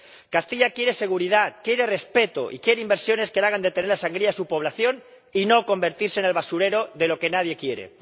Castilla quiere seguridad, quiere respeto y quiere inversiones que hagan detener la sangría de su población y no convertirse en el basurero de lo que nadie quiere.